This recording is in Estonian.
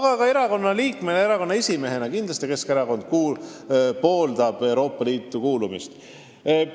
Kinnitan ka erakonna liikmena, erakonna esimehena, et Keskerakond pooldab Euroopa Liitu kuulumist.